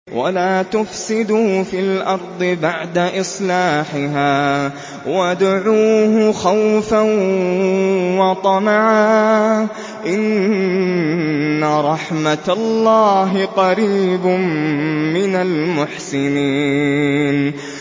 وَلَا تُفْسِدُوا فِي الْأَرْضِ بَعْدَ إِصْلَاحِهَا وَادْعُوهُ خَوْفًا وَطَمَعًا ۚ إِنَّ رَحْمَتَ اللَّهِ قَرِيبٌ مِّنَ الْمُحْسِنِينَ